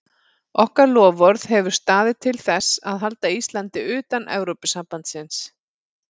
Okkar loforð hefur staðið til þess að halda Íslandi utan Evrópusambandsins.